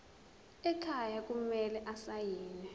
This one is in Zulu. ekhaya kumele asayiniwe